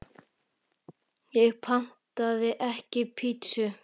Ég pantaði ekki pítsu